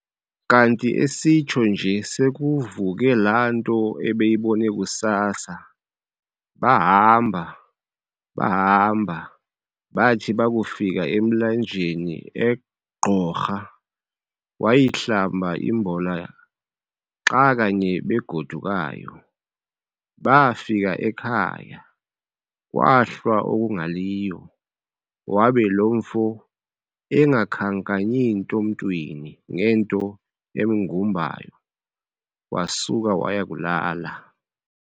Kanti esitsho nje sekuvuke laa nto ebeyibone kusasa Baahamba bahamba, bathi bakufika emlanjeni eGqorha, wayihlamba imbola xa kanye bagodukayo. Baafika ekhaya, kwahlwa okungaliyo, wabe lo mfo engakhankanyi nto mntwini ngento emgumbayo, wasuka waya kulala.